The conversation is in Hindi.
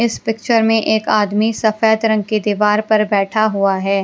इस पिक्चर में एक आदमी सफेद रंग की दीवार पर बैठा हुआ है।